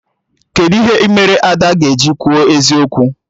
Kedụ ihe mere Ada ga-eji kwuo eziokwu?